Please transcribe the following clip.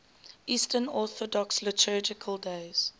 eastern orthodox liturgical days